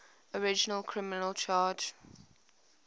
original criminal charge